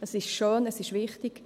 Es ist schön, es ist wichtig.